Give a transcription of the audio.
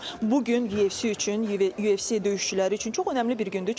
Bu gün YFC üçün, YFC döyüşçüləri üçün çox önəmli bir gündür.